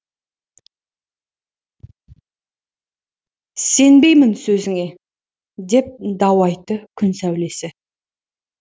сенбеймін сөзіңе деп дау айтты күн сәулесі